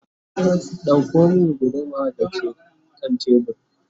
ɗauko min guduma da ke kan tebur!